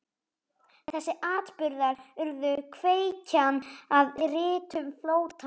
Þessir atburðir urðu kveikjan að ritun Flóttans.